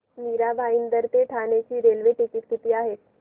मीरा भाईंदर ते ठाणे चे train ticket किती आहे